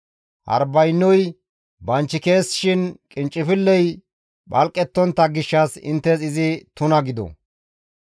Harbaynoy banchikeessishin qinccifilley phalqettontta gishshas izi inttes tuna gido.